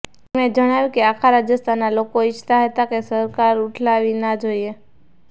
તેમણે જણાવ્યું કે આખા રાજસ્થાના લોકો ઇચ્છતા હતા કે સરકાર ઉઠલાવવી ના જોઇએ